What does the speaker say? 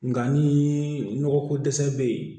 Nka ni nɔgɔ ko dɛsɛ be yen